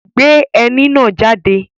Gbé ẹní náà jáde!